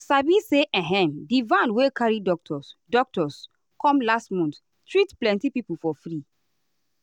you sabi say ehm di van wey carry doctors doctors come last month treat plenty people for free.